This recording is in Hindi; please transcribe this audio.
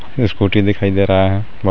ईस्कूटी दिखाई दे रहा है. औउ--